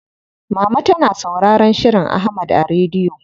Mama tana sauraron shirin Ahmad a rediyo.